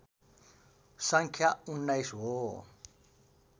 सङ्ख्या १९ हो